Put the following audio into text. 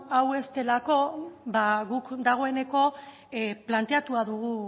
hau ez delako ba guk dagoeneko planteatua dugu